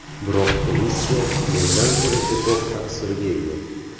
Biroq komissiya mendan ko‘ra ko‘proq ta’sirga ega.